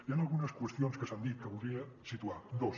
hi han algunes qüestions que s’han dit que voldria situar dos